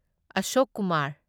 Ashok Kumar